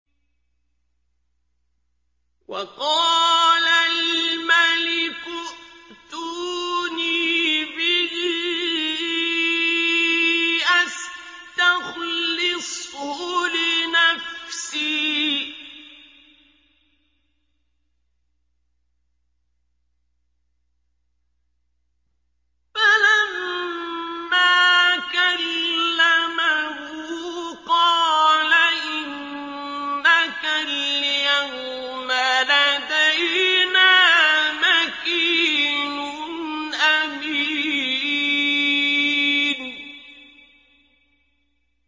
وَقَالَ الْمَلِكُ ائْتُونِي بِهِ أَسْتَخْلِصْهُ لِنَفْسِي ۖ فَلَمَّا كَلَّمَهُ قَالَ إِنَّكَ الْيَوْمَ لَدَيْنَا مَكِينٌ أَمِينٌ